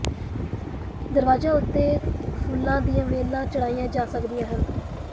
ਦਰਵਾਜ਼ਿਆਂ ਉੱਤੇ ਫੁੱਲਾਂ ਦੀਆਂ ਵੇਲਾਂ ਚੜ੍ਹਾਈਆਂ ਜਾ ਸਕਦੀਆਂ ਹਨ